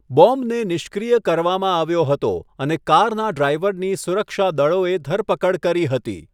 બોમ્બને નિષ્ક્રિય કરવામાં આવ્યો હતો અને કારના ડ્રાઈવરની સુરક્ષા દળોએ ધરપકડ કરી હતી.